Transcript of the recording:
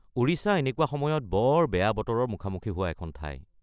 ওড়িশা এনেকুৱা সময়ত বৰ বেয়া বতৰৰ মুখামুখি হোৱা এখন ঠাই।